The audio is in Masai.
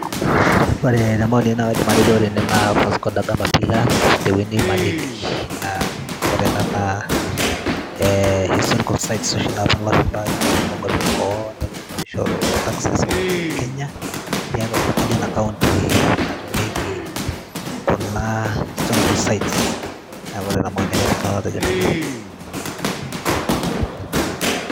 ore te maoni ai naa kaidim atejo ore ene naa Vasco Dagama pillars tewueji naji malindi naa ore ena naa eh, historical sites oshi naponu ilashumpa aing'orr tonkuapi eboo neponu nishoru taxes olosho le kenya tiatua sirkali ena kaunti natumieki kuna historical sites neeku ore ina maoni kaidim nanu atejo nejia.